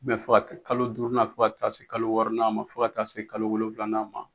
fɔ kalo duurunan fo ka taa se kalo wɔɔrɔnan ma, fo ka taa se kalo wolofilanan ma.